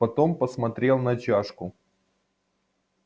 потом посмотрел на чашку